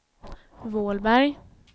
Vålberg